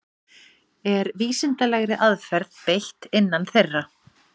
Er vísindalegri aðferð beitt innan þeirra?